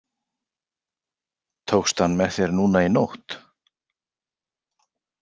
Tókstu hann með þér núna í nótt?